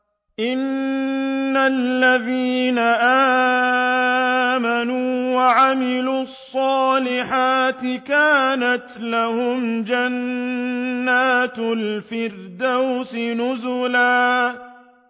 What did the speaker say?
إِنَّ الَّذِينَ آمَنُوا وَعَمِلُوا الصَّالِحَاتِ كَانَتْ لَهُمْ جَنَّاتُ الْفِرْدَوْسِ نُزُلًا